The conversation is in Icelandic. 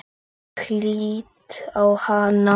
Ég lít á hana.